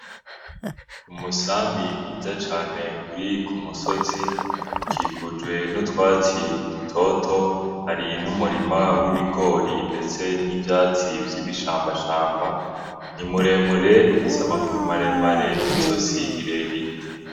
Umusambi mwiza cane uri kumusozi ukikijwe n'utwatsi dutoto hari n'umurima w'ibigori ndetse n'ivyatsi vy'ibishambashamba ni muremure ufise amaguru maremare n'izosi rirerire.